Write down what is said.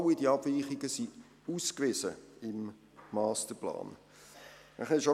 All diese Abweichungen sind im Masterplan ausgewiesen.